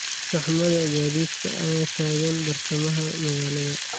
Saxmadda gaadiidka ayaa taagan bartamaha magaalada